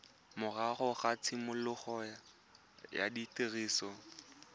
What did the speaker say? morago ga tshimologo ya tiriso